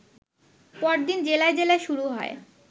পরদিন জেলায় জেলায় শুরু হয়